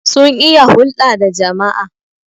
sun iya hulda da jama'a